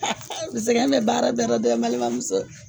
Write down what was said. sɛgɛn bɛ baara bɛ ra dɛ n balimamuso.